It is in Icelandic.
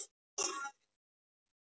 Friðrika